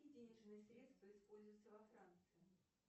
денежные средства используются во франции